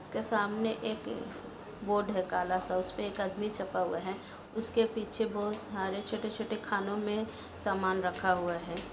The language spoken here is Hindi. ऊस के सामने एक बोर्ड है कालासा उसके एक छापा हुआ है। ऊस के पीछे बहुत सारे छोटे छोटे खानों मे सामान रखा हुआ है।